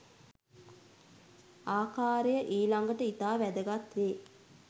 ආකාරය ඊළඟට ඉතා වැදගත් වේ.